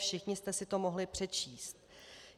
Všichni jste si to mohli přečíst.